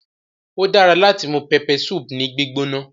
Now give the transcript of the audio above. Ódara lati mu peppersupu ni gbigbona